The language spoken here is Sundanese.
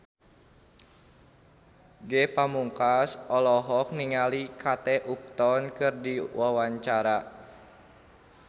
Ge Pamungkas olohok ningali Kate Upton keur diwawancara